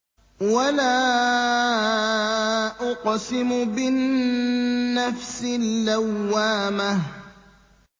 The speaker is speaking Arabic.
وَلَا أُقْسِمُ بِالنَّفْسِ اللَّوَّامَةِ